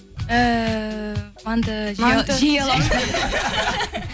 эээ манты манты жей алам